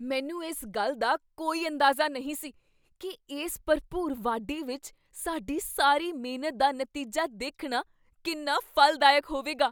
ਮੈਨੂੰ ਇਸ ਗੱਲ ਦਾ ਕੋਈ ਅੰਦਾਜ਼ਾ ਨਹੀਂ ਸੀ ਕੀ ਇਸ ਭਰਪੂਰ ਵਾਢੀ ਵਿਚ ਸਾਡੀ ਸਾਰੀ ਮਿਹਨਤ ਦਾ ਨਤੀਜਾ ਦੇਖਣਾ ਕਿੰਨਾ ਫ਼ਲਦਾਇਕ ਹੋਵੇਗਾ।